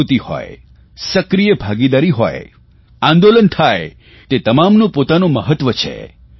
જાગૃતિ હોય સક્રિય ભાગીદારી હોય આંદોલન થાય તે તમામનું પોતાનું મહત્વ છે